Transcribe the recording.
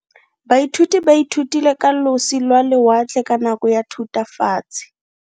Baithuti ba ithutile ka losi lwa lewatle ka nako ya Thutafatshe.